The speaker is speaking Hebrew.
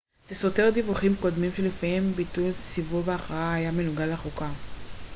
זה סותר דיווחים קודמים שלפיהם ביטול סיבוב ההכרעה היה מנוגד לחוקה